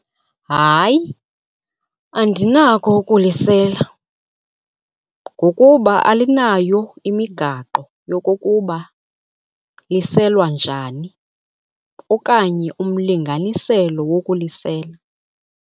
Hayi, andinako ukulisela ngokuba alinayo imigaqo yokokuba liselwa njani okanye umlinganiselo wokulisela.